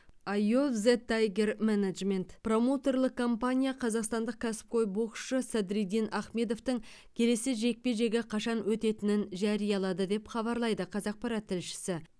ай ов зе тайгер менеджмент промоутерлік компания қазақстандық кәсіпқой боксшы садриддин ахмедовтің келесі жекпе жегі қашан өтетінін жариялады деп хабарлайды қазақпарат тілшісі